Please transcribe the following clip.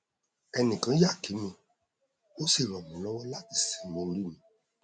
ẹnìkan yà kí mi ó sì ràn mí lọwọ láti sinmi orí mi